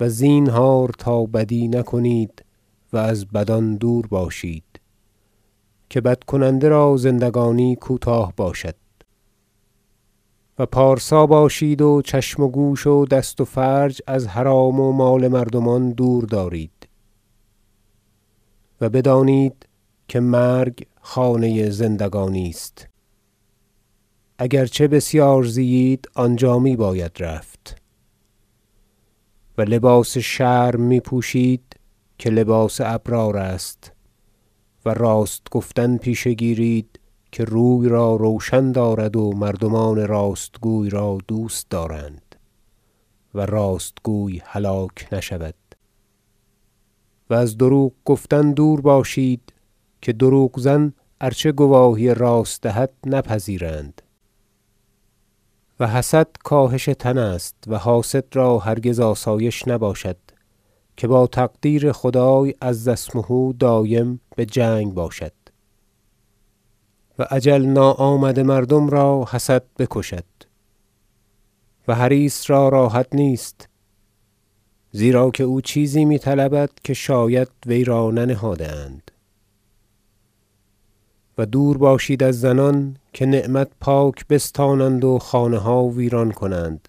و زینهار تا بدی نکنید و از بدان دور باشید که بد کننده را زندگانی کوتاه باشد و پارسا باشید و چشم و گوش و دست و فرج از حرام و مال مردمان دور دارید و بدانید که مرگ خانه زندگانی است اگر چه بسیار زیید آنجا می باید رفت و لباس شرم می پوشید که لباس ابرار است و راست گفتن پیشه گیرید که روی را روشن دارد و مردمان راست گویان را دوست دارند و راست گوی هلاک نشود و از دروغ گفتن دور باشید که دروغ زن ارچه گواهی راست دهد نپذیرند و حسد کاهش تن است و حاسد را هرگز آسایش نباشد که با تقدیر خدای عز اسمه دایم به جنگ باشد و اجل ناآمده مردم را حسد بکشد و حریص را راحت نیست زیرا که او چیزی می طلبد که شاید وی را ننهاده اند و دور باشید از زنان که نعمت پاک بستانند و خانه ها ویران کنند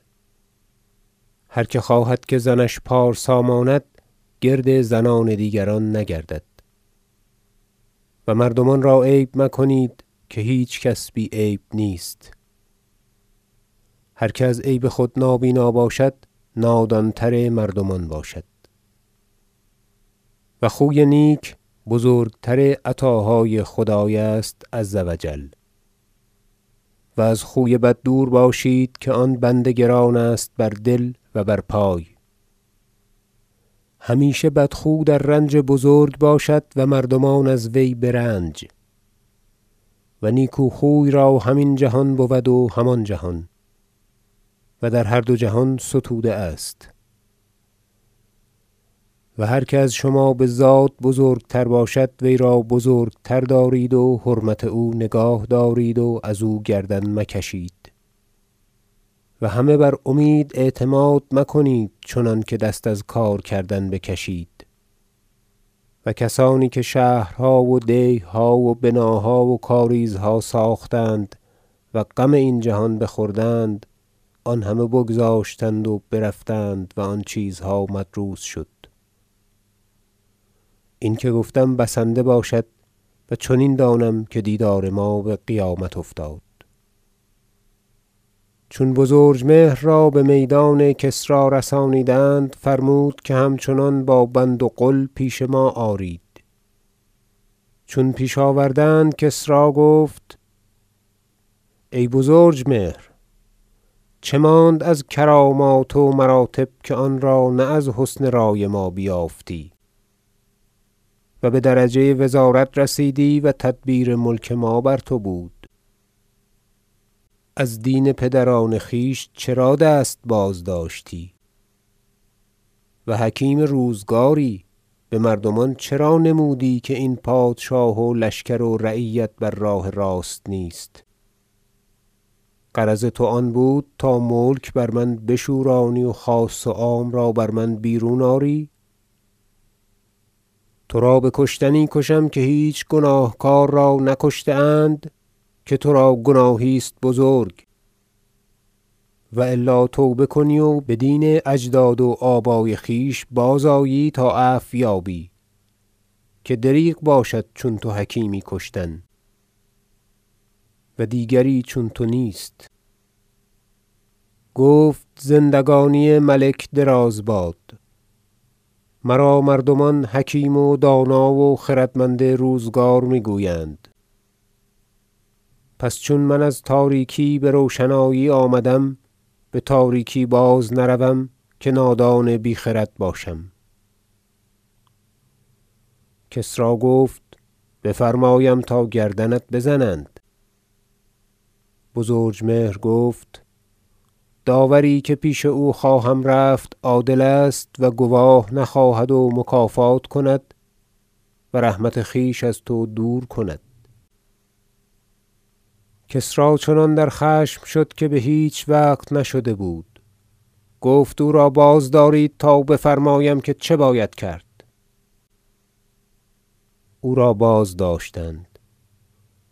هر که خواهد که زنش پارسا ماند گرد زنان دیگران نگردد و مردمان را عیب مکنید که هیچ کس بی عیب نیست هر که از عیب خود نابینا شد نادان تر مردمان باشد و خوی نیک بزرگتر عطاهای خدای است عز و جل و از خوی بد دور باشید که آن بند گران است بر دل و بر پای همیشه بدخو در رنج بزرگ باشد و مردمان از وی به رنج و نیکوخوی را هم این جهان بود و هم آن جهان و در هر دو جهان ستوده است و هر که از شما به زاد بزرگتر باشد وی را بزرگتر دارید و حرمت او نگاه دارید و از او گردن مکشید و همه بر امید اعتماد مکنید چنانکه دست از کار کردن بکشید و کسانی که شهرها و دیه ها و بناها و کاریزها ساختند و غم این جهان بخوردند آن همه بگذاشتند و برفتند و آن چیزها مدروس شد این که گفتم بسنده باشد و چنین دانم که دیدار ما به قیامت افتاد داستان زندانی شدن بزرجمهر چون بزرجمهر را به میدان کسری رسانیدند فرمود که همچنان با بند و غل پیش ما آرید چون پیش آوردند کسری گفت ای بزرجمهر چه ماند از کرامات و مراتب که آن را نه از حسن رای ما بیافتی و به درجه وزارت رسیدی و تدبیر ملک ما بر تو بود از دین پدران خویش چرا دست بازداشتی و حکیم روزگاری به مردمان چرا نمودی که این پادشاه و لشکر و رعیت بر راه راست نیست غرض تو آن بود تا ملک بر من بشورانی و خاص و عام را بر من بیرون آری ترا به کشتنی کشم که هیچ گناهکار را نکشته اند که ترا گناهی است بزرگ و الا توبه کنی و به دین اجداد و آبای خویش بازآیی تا عفویابی که دریغ باشد چون تو حکیمی کشتن و دیگری چون تو نیست گفت زندگانی ملک دراز باد مرا مردمان حکیم و دانا و خردمند روزگار می گویند پس چون من از تاریکی به روشنایی آمدم به تاریکی بازنروم که نادان بی خرد باشم کسری گفت بفرمایم تا گردنت بزنند بزرجمهر گفت داوری که پیش او خواهم رفت عادل است و گواه نخواهد و مکافات کند و رحمت خویش از تو دور کند کسری چنان در خشم شد که به هیچ وقت نشده بود گفت او را بازدارید تا بفرماییم که چه باید کرد او را بازداشتند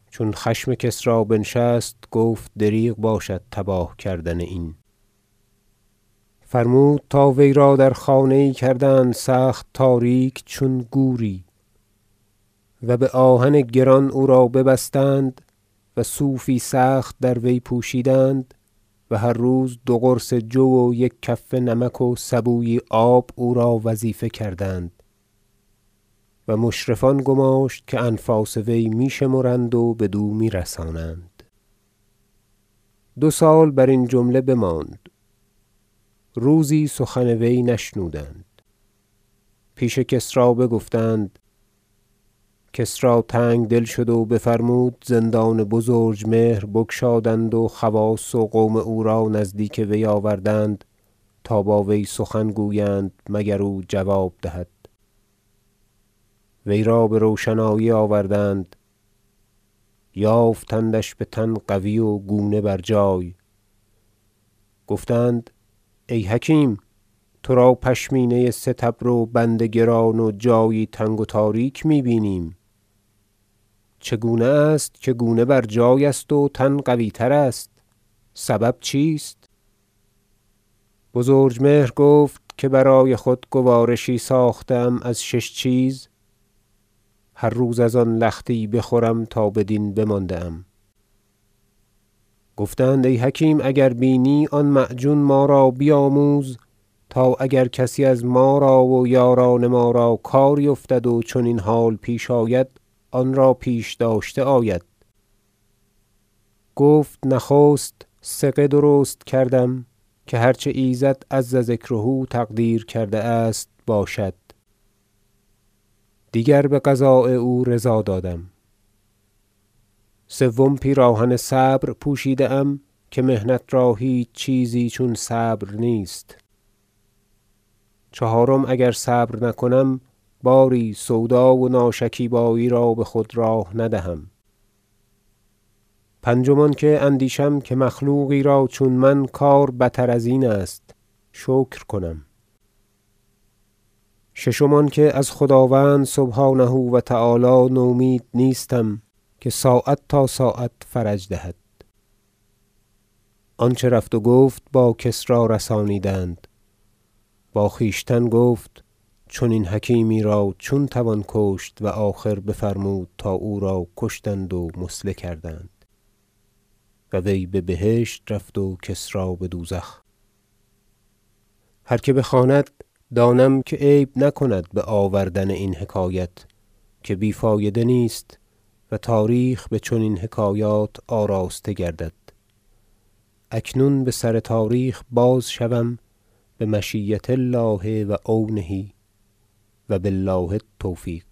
چون خشم کسری بنشست گفت دریغ باشد تباه کردن این فرمود تا وی را در خانه یی کردند سخت تاریک چون گوری و به آهن گران او را ببستند و صوفی سخت در وی پوشیدند و هر روز دو قرص جو و یک کفه نمک و سبویی آب او را وظیفه کردند و مشرفان گماشت که انفاس وی می شمرند و بدو می رسانند دو سال برین جمله بماند روزی سخن وی نشنودند پیش کسری بگفتند کسری تنگدل شد و بفرمود زندان بزرجمهر بگشادند و خواص و قوم او را نزدیک وی آوردند تا با وی سخن گویند مگر او جواب دهد وی را به روشنایی آوردند یافتندش به تن قوی و گونه بر جای گفتند ای حکیم ترا پشمینه ستبر و بند گران و جایی تنگ و تاریک می بینیم چگونه است که گونه برجای است و تن قویتر است سبب چیست بزرجمهر گفت که برای خود گوارشی ساخته ام از شش چیز هر روز از آن لختی بخورم تا بدین بمانده ام گفتند ای حکیم اگر بینی آن معجون ما را بیاموز تا اگر کسی از ما را و یاران ما را کاری افتد و چنین حال پیش آید آنرا پیش داشته آید گفت نخست ثقه درست کردم که هر چه ایزد عز ذکره تقدیر کرده است باشد دیگر به قضای او رضا دادم سوم پیراهن صبر پوشیده ام که محنت را هیچ چیزی چون صبر نیست چهارم اگر صبر نکنم باری سودا و ناشکیبایی را به خود راه ندهم پنجم آنکه اندیشم که مخلوقی را چون من کار بتر ازین است شکر کنم ششم آنکه از خداوند سبحانه و تعالی نومید نیستم که ساعت تا ساعت فرج دهد آنچه رفت و گفت با کسری رسانیدند با خویشتن گفت چنین حکیمی را چون توان کشت و آخر بفرمود تا او را کشتند و مثله کردند و وی به بهشت رفت و کسری به دوزخ هر که بخواند دانم که عیب نکند به آوردن این حکایت که بی فایده نیست و تاریخ به چنین حکایات آراسته گردد اکنون به سر تاریخ بازشوم بمشیة الله و عونه و بالله التوفیق